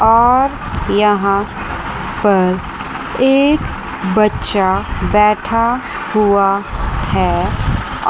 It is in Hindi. और यहां पर एक बच्चा बैठा हुआ है।